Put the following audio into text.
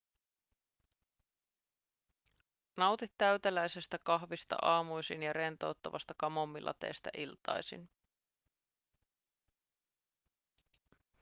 nauti täyteläisestä kahvista aamuisin ja rentouttavasta kamomillateestä iltaisin